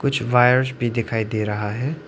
कुछ वायर्स भी दिखाई दे रहा है।